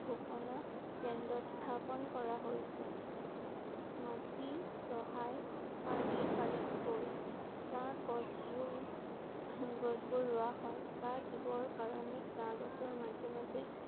ঘোষণা কেন্দ্ৰ স্থাপন কৰা হৈছে। মাটি চহাই শাৰী শাৰী কৈ চাহ গছ বোৰ গছ বোৰ ৰোৱা হয়। চাহ দিবৰ কাৰণে চাহ গছৰ মাজে মাজে